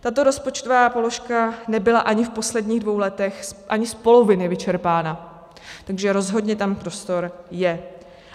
Tato rozpočtová položka nebyla ani v posledních dvou letech ani z poloviny vyčerpána, takže rozhodně tam prostor je.